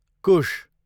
कुश